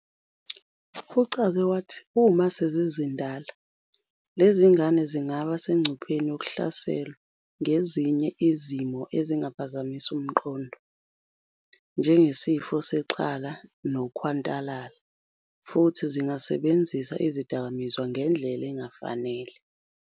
Uchaze wathi uma sezizindala, lezi zingane zingaba sengcupheni yokuhlaselwa ngezinye izimo ezingapha zamisa umqondo, njengesifo sexhala nokhwantalala, futhi zingasebenzisa izidakamizwa ngendlela engafanele.